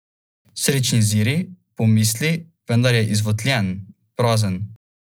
Srečni Ziri, pomisli, vendar je izvotljen, prazen.